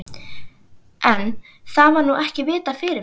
En, það var nú ekki vitað fyrirfram!